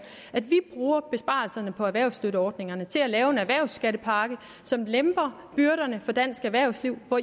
at vi bruger besparelserne på erhvervsstøtteordningerne til at lave en erhvervsskattepakke som lemper byrderne for dansk erhvervsliv hvor